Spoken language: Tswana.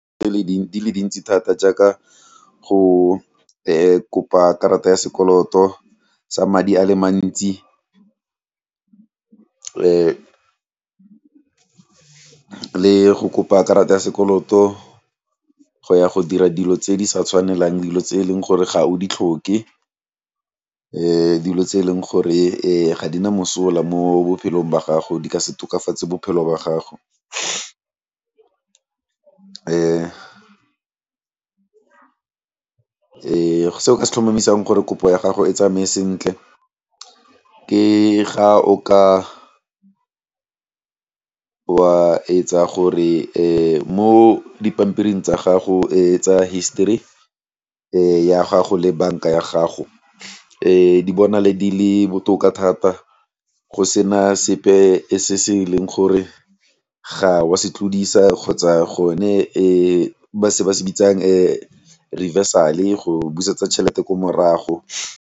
di le dintsi thata jaaka go kopa karata ya sekoloto sa madi a le mantsi le go kopa karata ya sekoloto go ya go dira dilo tse di sa tshwanelang, dilo tse e leng gore ga o di tlhoke, dilo tse e leng gore ga di na mosola mo bophelong ba gago di ka se tokafatse bophelo ba gago . Se o ka se tlhomamisang gore kopo ya gago e tsamaye sentle ke ga o ka wa etsa gore mo dipampiring tsa gago tsa history ya gago le banka ya gago di bonale di le botoka thata go sena sepe se se e leng gore ga wa se tlodisa kgotsa gone e ba se ba se bitsang reversal, go busetsa tšjhelete ko morago.